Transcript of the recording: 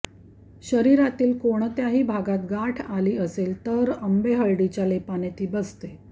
शरीरातील कोणत्याही भागात गाठ आली असेल तर आंबेहळदीच्या लेपाने ती बसते